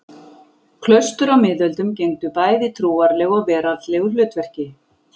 Klaustur á miðöldum gegndu bæði trúarlegu og veraldlegu hlutverki.